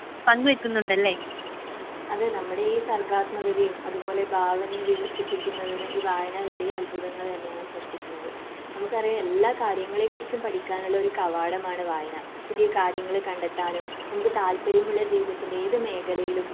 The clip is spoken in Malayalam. അതെ നമ്മുടെ ഈ സർവ്വാത്മഗതിയും അത് പോലെ ഭാവനയെ വികസിപ്പിക്കുന്നതിന് ഈ വായന വലിയ അത്ഭുതങ്ങൾ തന്നെയാണ് സൃഷ്ടിക്കുന്നത്. നമുക്ക് അറിയാം എല്ലാം കാര്യങ്ങളെ കുറിച്ച് പഠിക്കാനും ഉള്ള ഒരു കവാടമാണ് വായന. പുതിയ കാര്യങ്ങൾ കണ്ടെത്താനും നമുക്ക് താല്പര്യമുള്ള ജീവിതത്തിൽ ഏത് മേഖലയിലും .